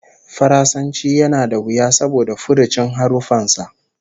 Faransanci yana da wuya saboda furucin haruffan sa